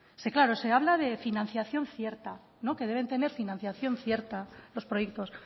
se habla de financiación cierta que deben tener financiación cierta los proyectos